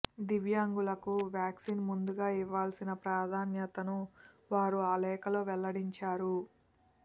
దివ్యాంగులకు వ్యాక్సిన్ ముందుగా ఇవ్వాల్సిన ప్రాధాన్యతను వారు ఆ లేఖలో వెల్లడించారు